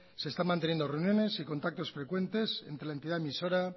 se están manteniendo reuniones y contactos frecuentes entre la entidad emisora